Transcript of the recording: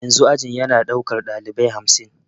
Yanzu ajin ya na daukar dalibai hamsin.